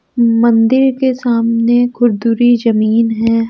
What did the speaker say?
मंदिर के सामने खुरदुरी जमीन है।